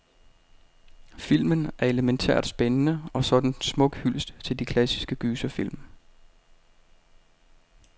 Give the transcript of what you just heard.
Filmen er elemæntært spændende, og så er den en smuk hyldest til de klassiske gyserfilm.